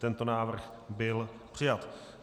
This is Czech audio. Tento návrh byl přijat.